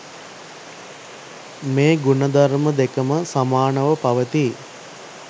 මේ ගුණ ධර්ම දෙකම සමානව පවතී.